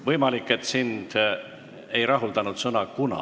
Võimalik, et sind ei rahuldanud sõna "kuna".